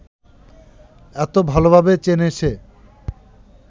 এত ভালভাবে চেনে সে